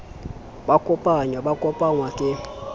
ba kopanyang ba kopangwa ke